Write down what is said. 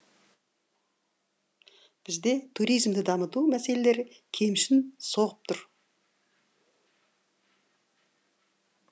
бізде туризмді дамыту мәселелері кемшін соғып тұр